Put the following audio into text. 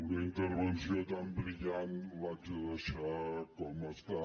una intervenció tan brillant l’haig de deixar com està